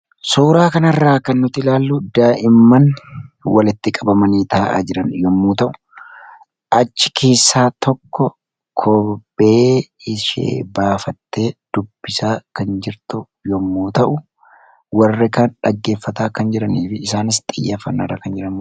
Suuraa kanarraa kan nuti ilaalllu daa'imman walitti qabamanii taa'an yommuu ta'u, achi keessaa tokko kophee ishee baafattee dubbisaa kan jirtu yoo ta’u, warri kaan dubbisaa kan jiranii fi isaanis xiyyeeffannaarra kan jiranidha.